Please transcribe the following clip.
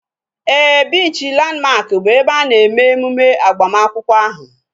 Éè, biichi Landmark bụ ebe a na-eme emume agbamakwụkwọ ahu